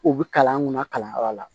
U bi kalan an kunna kalanyɔrɔ la